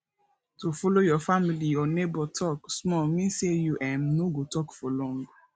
to follow your family or neighbour talk small mean say you um no go talk for long